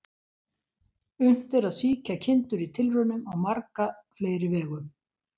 Unnt er að sýkja kindur í tilraunum á marga fleiri vegu.